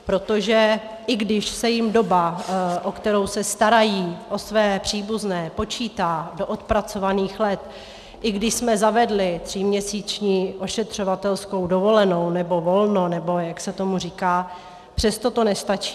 Protože i když se jim doba, po kterou se starají o své příbuzné, počítá do odpracovaných let, i když jsme zavedli tříměsíční ošetřovatelskou dovolenou, nebo volno, nebo jak se tomu říká, přesto to nestačí.